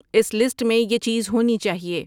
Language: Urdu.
اس لسٹ میں یہ چیز ہونی چاہیئے